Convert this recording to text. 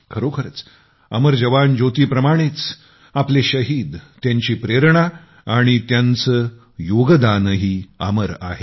खरोखरच अमर जवान ज्योतीप्रमाणेच आपले शहीदत्यांची प्रेरणा आणि त्यांचे योगदानही अमर आहे